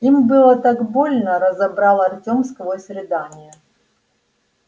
им было так больно разобрал артём сквозь рыдания